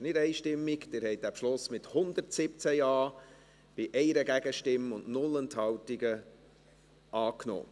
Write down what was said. Sie haben den Beschluss mit 117 Ja- gegen 1 Nein-Stimme bei 0 Enthaltungen angenommen.